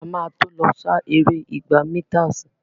A má tó lọ sá eré igba mításìì.